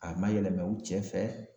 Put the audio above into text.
A ma yɛlɛma u cɛ fɛ